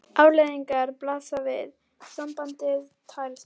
Afleiðingarnar blasa við: sambandið tærist upp.